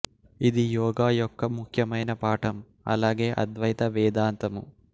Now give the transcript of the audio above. ఇది యోగ యొక్క ముఖ్యమైన పాఠం అలాగే అద్వైత వేదాంతము